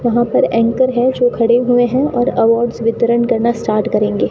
वहां पर एंकर है जो खड़े हुए हैं और अवार्ड्स वितरण करना स्टार्ट करेंगे।